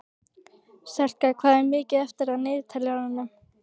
Selka, hvað er mikið eftir af niðurteljaranum?